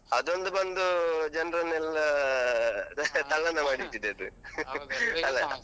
ಅದೊಂದು ಬಂದು ಜನರನ್ನೆಲ್ಲ ಮಾಡಿ ಇಟ್ಟಿದೆ ಅದು ಅಲ್ಲಾ.